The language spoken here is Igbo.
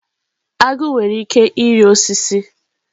Agụ nwere ike ịrị osisi.